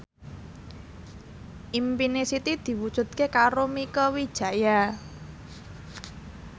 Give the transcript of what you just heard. impine Siti diwujudke karo Mieke Wijaya